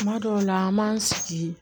Kuma dɔw la an b'an sigi